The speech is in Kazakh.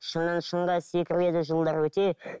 шыңнан шыңға секіреді жылдар өте